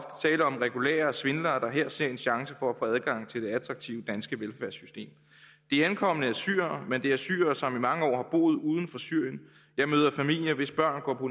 regulære svindlere der her ser en chance for at få adgang til det attraktive danske velfærdssystem de ankomne er syrere men det er syrere som i mange år har boet uden for syrien jeg møder familier hvis børn går på